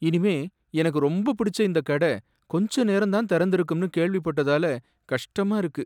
இனிமே எனக்கு ரொம்ப புடிச்ச இந்தக் கட கொஞ்ச நேரம் தான் திறந்திருக்கும்னு கேள்விப்பட்டதால கஷ்டமா இருக்கு.